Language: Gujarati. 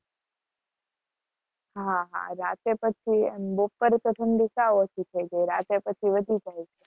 હા હા રાત્રે પછી રાત્રે પછી વધી જાય છે.